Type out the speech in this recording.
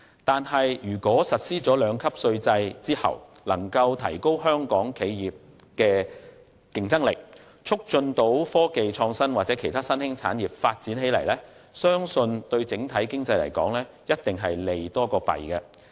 可是，如果實施兩級稅制能夠提高香港企業的競爭力，促進科技創新或其他新興產業的發展，相信對整體經濟一定是利多於弊。